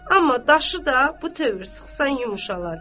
Amma daşı da bu tövr sıxsan yumşalar.